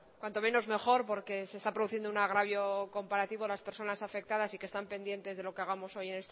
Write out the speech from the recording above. cuanto menos mejor porque se está produciendo un agravio comparativo a las personas afectadas y que están pendientes de lo que hagamos hoy